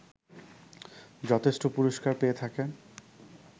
যথেষ্ট পুরস্কার পেয়ে থাকেন